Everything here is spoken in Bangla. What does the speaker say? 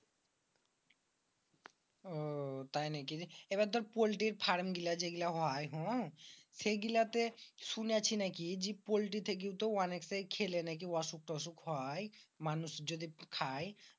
আহ তাই নাকি রে? এবার দর পল্টির ফার্মগুলা যেগুলা হয় হম সেই গুলাতে শুনেছি নাকি পল্টিতে নাকি অনেকটাই খেলে নাকি অসুখ টসুখ হয়? এটাই মানুষ যদি খায়